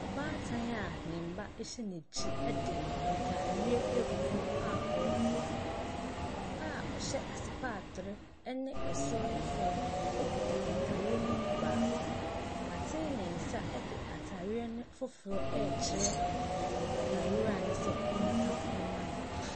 Ɔbaatan a ne mma hyɛ n'akyi ɛde ntaareɛ ɛgu fam a ɔɔtɔn. Papa a ɔhyɛ asepaatre ɛnɛ ɛsoro ne fam ɛkita ntaareɛ ne mu baako. W'aten ne nsa ɛɛde ataareɛ no foforɔ ɛɛkyerɛ ataarewura no sɛ ɔntam ma no.